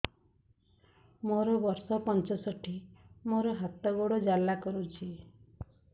ମୋର ବର୍ଷ ପଞ୍ଚଷଠି ମୋର ହାତ ଗୋଡ଼ ଜାଲା କରୁଛି